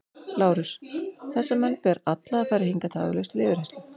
LÁRUS: Þessa menn ber alla að færa hingað tafarlaust til yfirheyrslu.